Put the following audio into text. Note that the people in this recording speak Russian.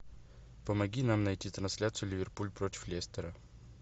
помоги нам найти трансляцию ливерпуль против лестера